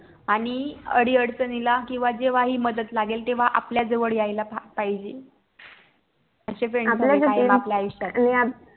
आणि अडीअडचणीला किवां जेव्हा ही मदत लागेल तेव्हा आपल्या जवळ यायला पाहिजे अशे FRIEND पाहिजे आपल्या आयुष्यात